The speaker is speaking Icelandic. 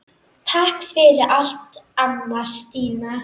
Takk fyrir allt, amma Stína.